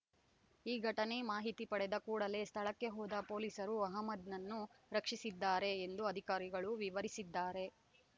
ಈ ಘಟನೆ ಮಾಹಿತಿ ಪಡೆದ ಕೂಡಲೇ ಸ್ಥಳಕ್ಕೆ ಹೋದ ಪೊಲೀಸರು ಅಹಮ್ಮದ್‌ನನ್ನು ರಕ್ಷಿಸಿದ್ದಾರೆ ಎಂದು ಅಧಿಕಾರಿಗಳು ವಿವರಿಸಿದ್ದಾರೆ